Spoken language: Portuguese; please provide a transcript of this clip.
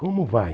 Como vai?